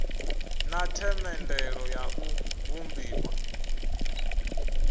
na themendelo ya u vhumbiwa